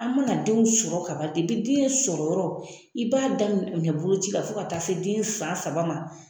An ma na den sɔrɔ ka ban, den sɔrɔ yɔrɔ i b'a daminɛ bolo ci la fo ka taa se den san saba ma.